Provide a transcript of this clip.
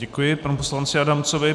Děkuji panu poslanci Adamcovi.